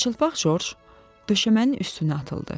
Yarıçılpaq Corc döşəmənin üstünə atıldı.